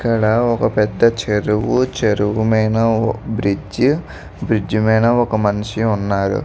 ఇక్కడ ఒక పెద్ధ చెరువు చెరువు మీద బ్రిడ్జ్ బ్రిడ్జ్ మీనా ఒక మనిషి ఉన్నాడు.